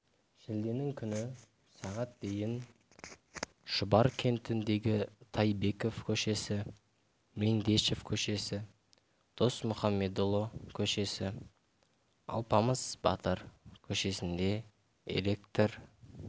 шілденің күні сағат дейін шұбар кентіндегі тайбеков көшесі меңдешев көшесі досмұхамедұлы көшесі алпамыс батыр көшесінде электр